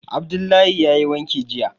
Abdullahi yayi wanki jiya